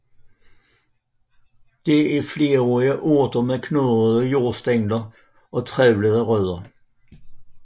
Det er flerårige urter med knudrede jordstængler og trævlede rødder